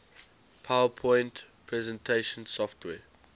powerpoint presentation software